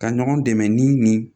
Ka ɲɔgɔn dɛmɛ ni nin ye